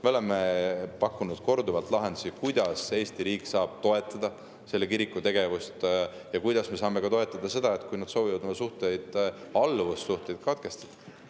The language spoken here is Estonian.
Me oleme pakkunud korduvalt lahendusi, kuidas Eesti riik saab toetada selle kiriku tegevust ja kuidas me saame toetada seda, kui nad soovivad oma alluvussuhted katkestada.